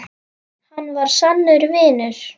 Hann var sannur vinur.